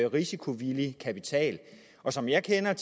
risikovillig kapital og som jeg kender